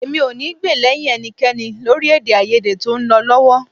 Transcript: Èmi ò ní gbè lẹ́yìn ẹnikẹ́ni lórí èdèàìyedè tó ń lọ lọ́wọ́